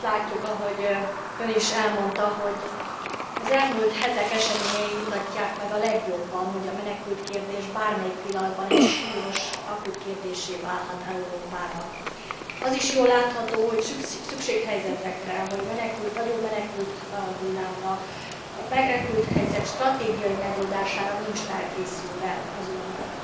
Azt látjuk, ahogy Ön is elmondta, hogy az elmúlt hetek eseményei mutatják meg a legjobban, hogy a menekültkérdés bármelyik pillanatban egy súlyos, akut kérdéssé válhat Európában. Az is jól látható, hogy szükséghelyzetekre, nagyobb menekülthullámra, a menekülthelyzet stratégiai megoldására nincs felkészülve az Unió.